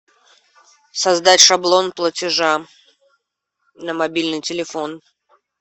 создать шаблон платежа на мобильный телефон